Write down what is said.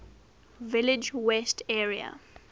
village west area